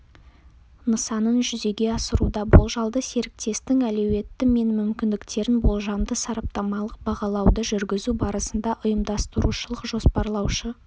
нысанын жүзеге асыруда болжалды серіктестің әлеуеті мен мүмкіндіктерін болжамды-сараптамалық бағалауды жүргізу барысында ұйымдастырушылық-жоспарлаушы